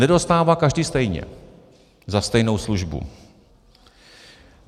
Nedostává každý stejně za stejnou službu.